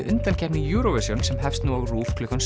undankeppni Eurovision sem hefst nú á RÚV klukkan